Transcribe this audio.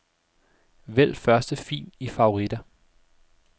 Vælg første fil i favoritter.